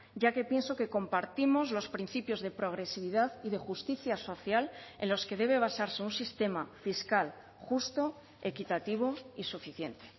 ya que pienso que compartimos los principios de progresividad y de justicia social en los que debe basarse un sistema fiscal justo equitativo y suficiente